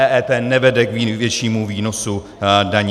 EET nevede k vyššímu výnosu daní.